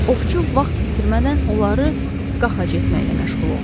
Ovçu vaxt itirmədən onları qaxac etməklə məşğul oldu.